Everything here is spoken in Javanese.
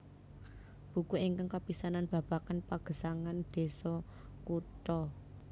Buku ingkang kapisanan babagan pagesangan désa kutha